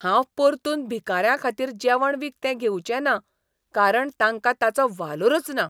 हांव परतून भिकाऱ्यांखातीर जेवण विकतें घेवचेंना कारण तांकां ताचो वालोरच ना.